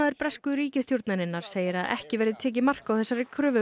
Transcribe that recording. bresku ríkisstjórnarinnar segir að ekki verði tekið mark á þessari kröfu